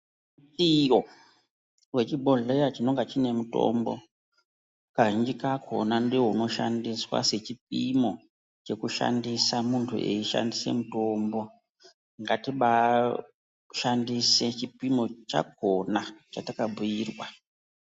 Iyoo wechibhodhleya chinenge chine mitombo kazhinji kakona ndoo inoshandiswa sechipimo chokushandisa muntu eishandise mutombo ngati baa shandise chipimo chakona chatakabhuyirwa.